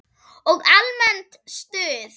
Og almennt stuð!